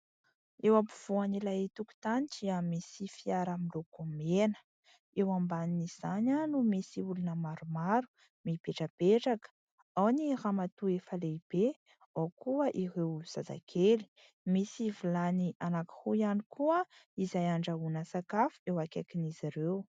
Eo ampovoan'ilay tokotany dia misy fiara miloko mena, eo ambanin'izany no misy olona maromaro mipetrapetraka : ao ny ramatoa iray lehibe, ao koa ireo zazakely, misy vilany anankiroa ihany koa izay andrahoana sakafo eo akaikin'izy ireo.